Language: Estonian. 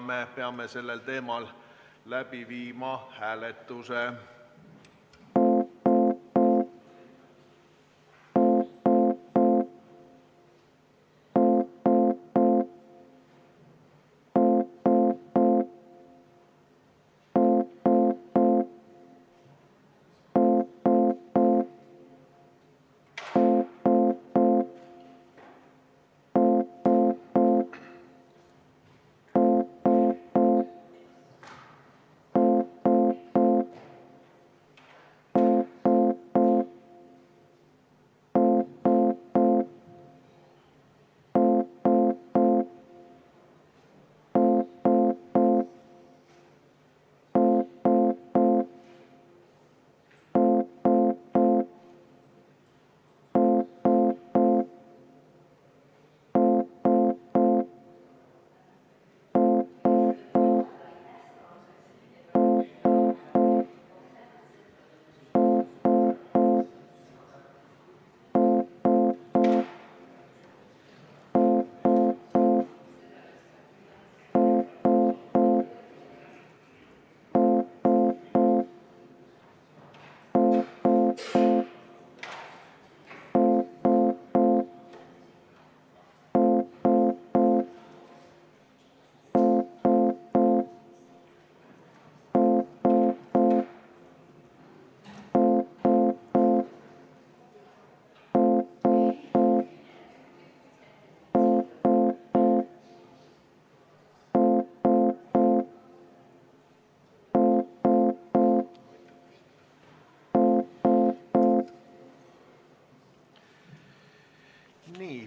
Me peame sellel teemal läbi viima hääletuse.